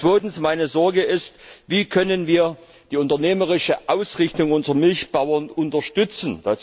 Zweitens Meine Sorge ist, wie können wir die unternehmerische Ausrichtung unserer Milchbauern unterstützen?